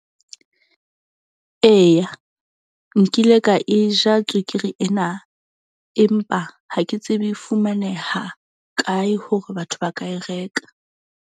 Eya, nkile ka e ja tswekere ena. Empa ha ke tsebe e fumaneha kae hore batho ba ka e reka.